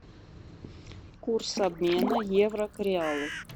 курс обмена евро к реалу